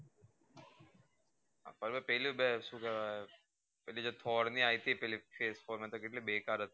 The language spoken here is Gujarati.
અમે પેલું બે સુ કહવે પેલી જે thor ની આઇ હતી પેલી four કેટલી બેકાર હતિ